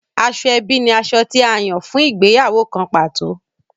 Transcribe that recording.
Asoebi ní aṣọ tí a Yàn fún ìgbéyàwó kán pàtó.